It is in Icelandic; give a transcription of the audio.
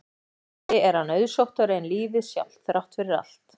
Vonandi er hann auðsóttari en lífið sjálft, þrátt fyrir allt.